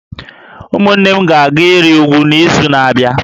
Ụmụnne m ga-aga ịrị úgwú n’izu na-abịa